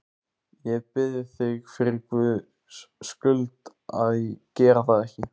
Ég bið þig fyrir Guðs skuld að gera það ekki!